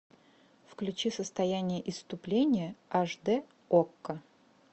включи состояние исступления аш д окко